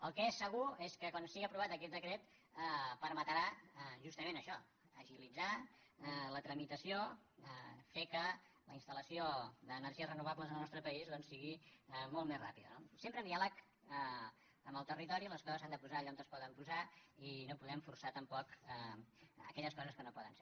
el que és segur és que quan sigui aprovat aquest decret permetrà justament això agilitzar la tramitació fer que la installació d’energies renovables en el nostre país doncs sigui molt més ràpida no sempre amb diàleg amb el territori les coses s’han de posar allà on es poden posar i no podem forçar tampoc aquelles coses que no poden ser